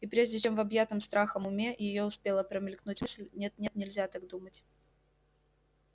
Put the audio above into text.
и прежде чем в объятом страхом уме её успела промелькнуть мысль нет нет нельзя так думать